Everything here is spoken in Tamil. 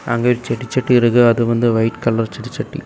அங்கே ஒரு செட்டி செட்டி இருக்கு அது வந்து ஒயிட் கலர் செட்டி செட்டி.